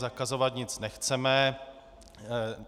Zakazovat nic nechceme.